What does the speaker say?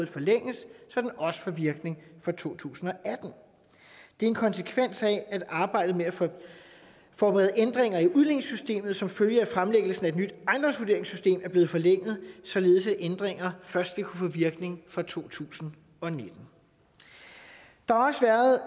forlænges så den også får virkning for to tusind og atten det er en konsekvens af at arbejdet med at forberede ændringer i udligningssystemet som følge af fremlæggelsen af et nyt ejendomsvurderingssystem er blevet forlænget således at ændringer først vil kunne få virkning fra to tusind og nitten der har også været